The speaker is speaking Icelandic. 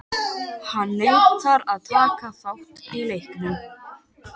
Hann neitar að taka þátt í leiknum.